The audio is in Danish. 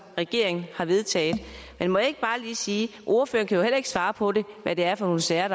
regeringen har vedtaget men må jeg ikke bare lige sige at ordføreren ikke kan svare på hvad det er for sager